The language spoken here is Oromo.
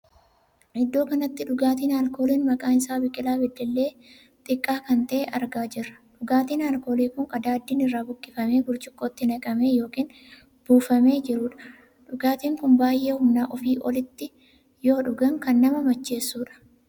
Iddoo kanatti dhugaatiin alkooliin maqaan isaa biqilaa beddellee xiqqaa kan tahee argaa jirra. dhugaatiin alkooliin kun qadaaddiin irraa buqqifamee burcuqqootti naqamee ykn buufamee jirudha. dhugaatiin kun baay'ee Humna ofii olitti yoo dhugaan kan nama macheessudha.